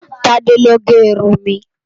Tade ló gè irún mi